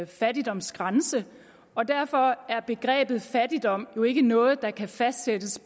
fattigdomsgrænse og derfor er begrebet fattigdom jo ikke noget der kan fastsættes